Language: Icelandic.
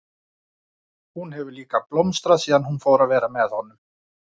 Hún hefur líka blómstrað síðan hún fór að vera með honum.